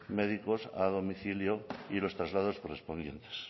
médicos a domicilio y los traslados correspondientes